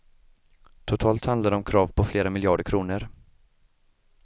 Totalt handlar det om krav på flera miljarder kronor.